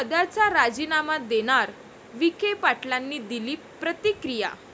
पदाचा राजीनामा देणार? विखे पाटलांनी दिली प्रतिक्रिया